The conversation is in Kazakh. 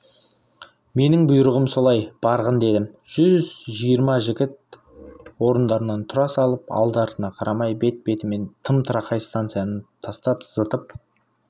менің бұйрығым солай барғын дедім жүз жиырма жігіт орындарынан тұра салып алды-артына қарамай бет-бетімен тым тырақай станцияны тастап зытып